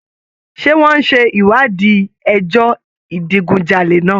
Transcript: Ṣé wọ́n ń ṣe ìwádìí ẹjọ́ ìdigunjalè náà?